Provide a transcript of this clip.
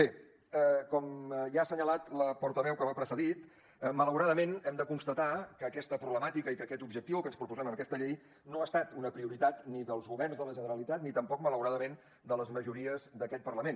bé com ja ha assenyalat la portaveu que m’ha precedit malauradament hem de constatar que aquesta problemàtica i que aquest objectiu el que ens proposem amb aquesta llei no ha estat una prioritat ni dels governs de la generalitat ni tampoc malauradament de les majories d’aquest parlament